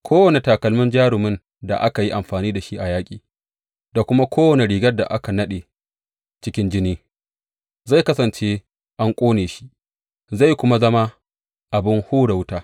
Kowane takalmin jarumin da aka yi amfani da shi a yaƙi da kuma kowane rigar da ka naɗe cikin jini zai kasance an ƙone shi zai kuma zama abin hura wuta.